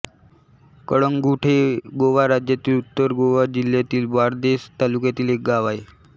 कळंगूट हे गोवा राज्यातील उत्तर गोवा जिल्ह्यातील बारदेस तालुक्यातील एक गाव आहे